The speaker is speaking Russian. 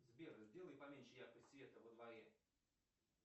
сбер сделай поменьше яркость света во дворе